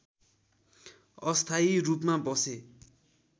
अस्थायी रूपमा बसे